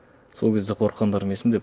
сол кезде қорыққандарым есімде